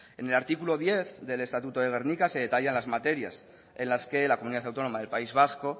en el artículo diez del estatuto de gernika se detallan las materias en las que la comunidad autónoma del país vasco